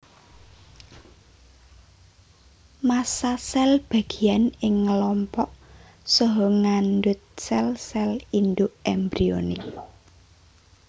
Massa sel bagian ing ngelompok saha ngandut sel sel induk embrionik